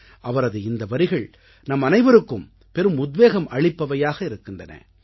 அவரது இந்த வரிகள் நம்மனவைவருக்கும் பெரும் உத்வேகம் அளிப்பவையாக இருக்கின்றன